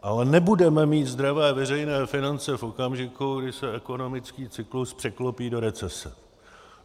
Ale nebudeme mít zdravé veřejné finance v okamžiku, kdy se ekonomický cyklus překlopí do recese.